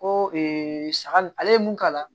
Ko saga n ale ye mun k'a la